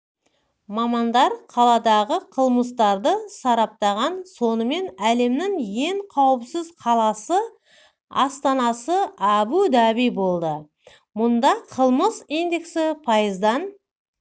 мамандар қаладағы қылмыстарды сараптаған сонымен әлемнің ең қауіпсіз қаласы астанасы әбу-даби болды мұнда қылмыс индексі пайыздан